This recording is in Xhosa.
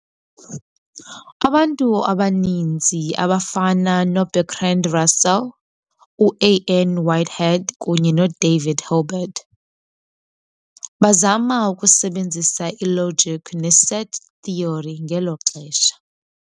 Abantu abaninzi, abafana noBertrand Russell, uA. N. Whitehead, kunye noDavid Hilbert, bazama ukusebenzisa ilogic neset theory ngelo xesha.